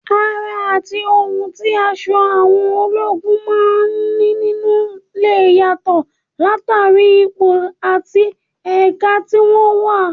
Àrà àti ohun tí aṣọ àwọn ológun máa ń nínú lè yàtọ̀ látàrí ipò àti ẹ̀ka tí wọ́n wà